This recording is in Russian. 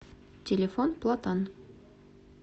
телефон платан